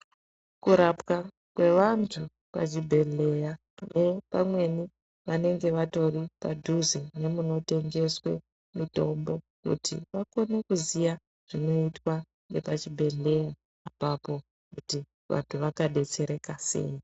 Kurapwa kwevantu pachibhedhlera vamweni pamweni vanenge vatori padhuze nemunotengeswa mitombo kuti vakone kuziva zvezvinoitwa pachibhedhlera ipapo kuti antu vanga detsereka sei.